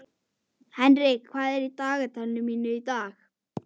Auðbjört, hvernig er veðrið í dag?